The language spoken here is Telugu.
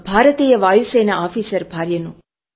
ఓక భారతీయ వాయుసేన ఆఫీసర్ భార్యను